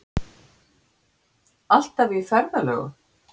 Alltaf í ferðalögum.